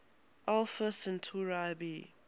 alpha centauri b